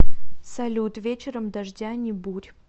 салют вечером дождя ни бурь